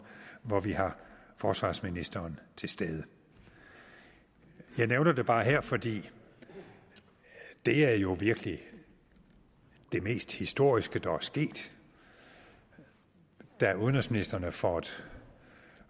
hvor vi har forsvarsministeren til stede jeg nævner det bare her for det er jo virkelig det mest historiske der er sket da udenrigsministrene for et